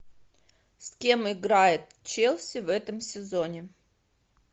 с кем играет челси в этом сезоне